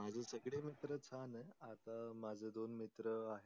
माझे सगडे मित्र छान आहे. आता माझे दोन मित्र आहे.